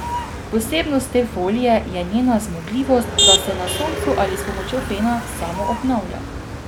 Posebnost te folije je njena zmogljivost, da se na soncu ali s pomočjo fena samoobnavlja.